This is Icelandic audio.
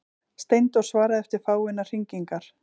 Steindór svaraði eftir fáeinar hringingar.